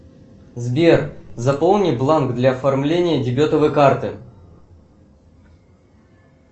сбер заполни бланк для оформления дебетовой карты